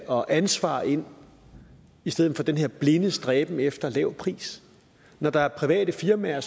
og ansvar ind i stedet for den her blinde stræben efter en lav pris når der er private firmaer